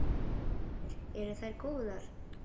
Heimir: Eru þær góðar?